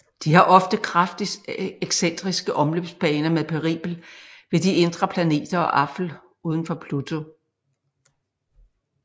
De har ofte kraftigt excentriske omløbsbaner med perihel ved de indre planeter og aphel udenfor Pluto